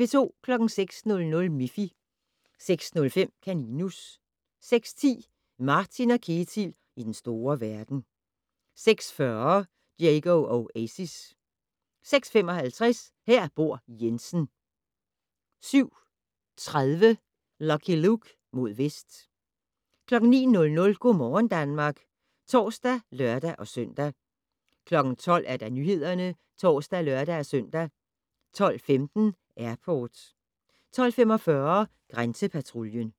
06:00: Miffy 06:05: Kaninus 06:10: Martin & Ketil i den store verden 06:40: Diego Oasis 06:55: Her bor Jensen 07:30: Lucky Luke: Mod vest 09:00: Go' morgen Danmark (tor og lør-søn) 12:00: Nyhederne (tor og lør-søn) 12:15: Airport 12:45: Grænsepatruljen